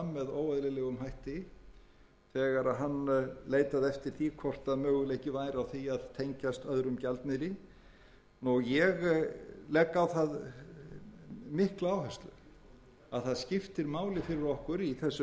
væri á því að tengjast öðrum gjaldmiðli ég legg á það mikla áherslu að það skiptir máli fyrir okkur í þessu minnsta